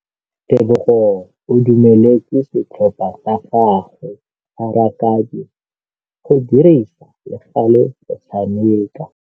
Tebogô o dumeletse setlhopha sa gagwe sa rakabi go dirisa le galê go tshameka.